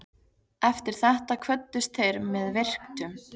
Eftir þetta kvöddust þeir með virktum.